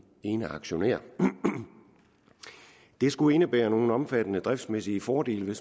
eneaktionær det skulle indebære nogle omfattende driftsmæssige fordele